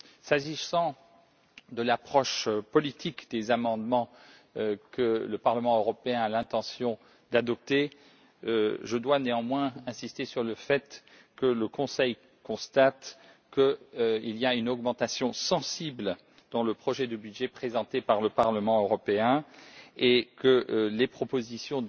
S'agissant de l'approche politique des amendements que le Parlement européen a l'intention d'adopter, je dois néanmoins insister sur le fait que le Conseil constate qu'il y a une augmentation sensible dans le projet de budget présenté par le Parlement européen et que ses propositions